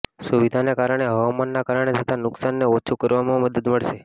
સુવિધાને કારણે હવામાનના કારણે થતાં નુકસાનને ઓછું કરવામાં મદદ મળશે